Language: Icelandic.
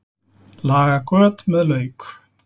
Laga göt með lauk